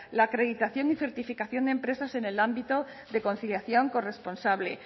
la acreditación y certificación de empresas en el ámbito de conciliación corresponsable